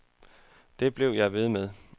Det blev jeg ved med.